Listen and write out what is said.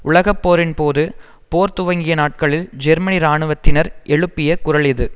உலகப்போரின்போது போர் துவங்கிய நாட்களில் ஜெர்மனி ராணுவத்தினர் எழுப்பிய குரல் இது